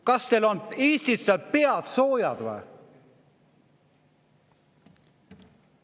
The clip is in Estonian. Kas teil seal Eestis on pead soojad või?